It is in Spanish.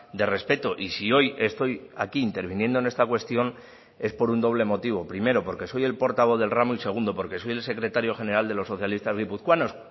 de respeto y si hoy estoy aquí interviniendo en esta cuestión es por un doble motivo primero porque soy el portavoz del ramo y segundo porque soy el secretario general de los socialistas guipuzcoanos